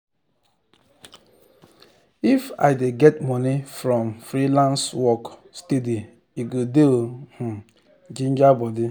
if i dey get money from freelance work steady e go dey um ginger body